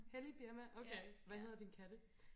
hellig birma okay hvad hedder dine katte